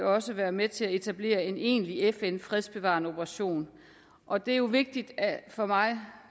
også være med til at etablere en egentlig fn fredsbevarende operation og det er jo vigtigt for mig